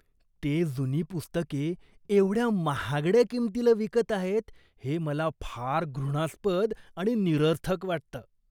ते जुनी पुस्तके एवढ्या महागड्या किंमतीला विकत आहेत हे मला फार घृणास्पद आणि निरर्थक वाटतं.